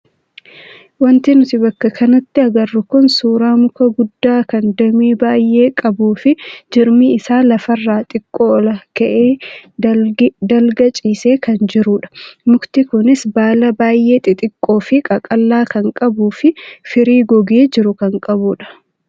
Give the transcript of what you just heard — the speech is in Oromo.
Wanti nuti bakka kanatti agarru kun suuraa muka guddaa kan damee baay'ee qabuu fi jirmi isaa lafarraa xiqqoo ola ka'ee dalga ciisee kan jirudha. Mukti kunis baala baay'ee xixiqqoo fi qaqal'aa kan qabuu fi firii gogee jiru kan qabudha.